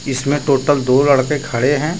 इसमें टोटल दो लड़के खड़े हैं।